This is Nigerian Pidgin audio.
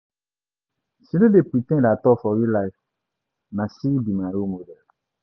She no dey pre ten d at all for real life, na she be my role model.